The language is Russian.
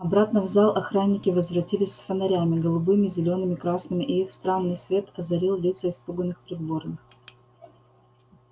обратно в зал охранники возвратились с фонарями голубыми зелёными красными и их странный свет озарил лица испуганных придворных